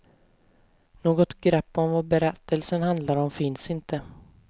Något grepp om vad berättelsen handlar om finns inte.